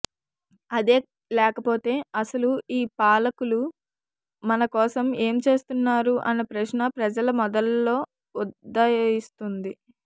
అదే లేకపోతే అసలు ఈ పాలకులు మన కోసం ఏం చేస్తున్నారు అన్న ప్రశ్న ప్రజల మెదళ్ళలో ఉదయిస్తుంది